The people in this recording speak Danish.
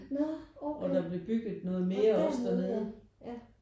Når okay åh dernede ja ja